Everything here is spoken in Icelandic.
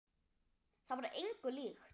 Það var engu líkt.